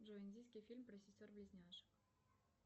джой индийский фильм про сестер близняшек